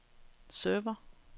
server